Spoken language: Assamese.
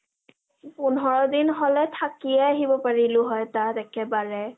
পোন্ধৰ দিন হলে থাকিয়ে আহিব পাৰিলো হয় তাত একেবাৰে ।